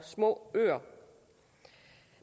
småøer